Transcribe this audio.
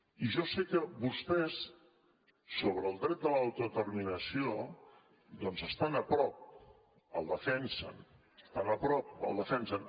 i jo sé que vostès sobre el dret a l’autodeterminació estan a prop el defensen estan a prop el defensen